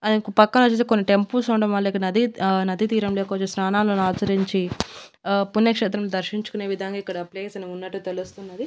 దాని యొక్క పక్కనొచ్చేసి కొన్ని టెంపుల్స్ ఉండడం వలన ఇక్కడ నది ఆ నది తీరంలో కొచ్చేసి స్నానాలను ఆచరించి ఆ పుణ్యక్షేత్రం దర్శించుకునే విధానం ఇక్కడ ప్లేస్ అని ఉన్నట్టు తెలుస్తున్నది.